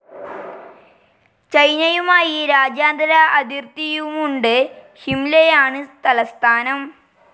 ചൈനയുമായി രാജ്യാന്തര അതിർത്തിയുമുണ്ട് ഷിംലയാണ് തലസ്ഥാനം.